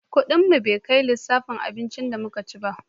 Kudin mu bai kai lissafin abincin da mu ka ci ba